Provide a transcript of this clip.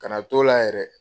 Kana na t'o la yɛrɛ